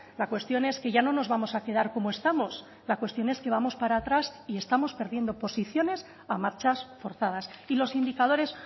la cuestión es que ya no nos vamos a quedar como estamos la cuestión es que vamos para atrás y estamos perdiendo posiciones a marchas forzadas y los indicadores